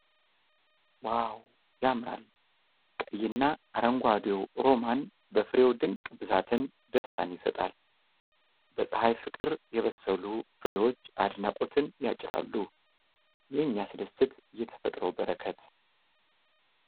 ዋው ያምራል ! ቀይና አረንጓዴው ሮማን በፍሬው ድንቅ ብዛት ደስታን ይሰጣል። በፀሐይ ፍቅር የበሰሉ ፍሬዎች አድናቆትን ያጭራሉ ። የሚያስደስት የተፈጥሮ በረከት!